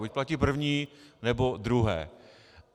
Buď platí první, nebo druhé!